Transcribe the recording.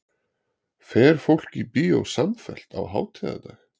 fer fólk í bíó samfellt á hátíðardag